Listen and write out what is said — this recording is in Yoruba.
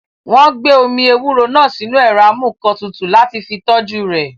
Wọ́n gbé omi ewúro náà sínu ẹ̀rọ amúǹkantutù láti fi tọ́jú rẹ̀